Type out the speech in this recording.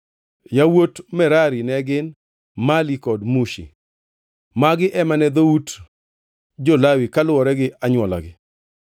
Yawuot Merari ne gin: Mali kod Mushi. Magi ema ne dhout jo-Lawi kaluwore gi anywolagi.